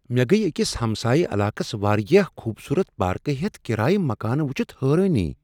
مےٚ گیہ أکس ہمسایہ علاقس وارِیاہ خوبصورت پاركہٕ ہیتھ کرایہ مکانہٕ وٗچِھتھ حٲرۭنی ۔